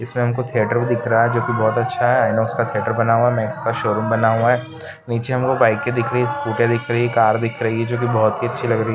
इसमे हमको थिएटर भी दिख रहा जो की बहुत अच्छा है आय नॉक्स का थिएटर बना हुआ है मैक्स का शोरूम बना हुआ है नीचे हमको बाइके दिख रही है स्कूटे दिख रही है कार दिख रही है जो की बहुत ही अच्छी लग रही है।